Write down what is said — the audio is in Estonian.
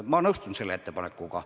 Ma nõustun selle ettepanekuga.